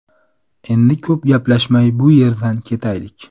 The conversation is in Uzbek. Endi ko‘p gaplashmay bu yerdan ketaylik.